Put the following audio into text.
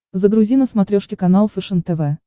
загрузи на смотрешке канал фэшен тв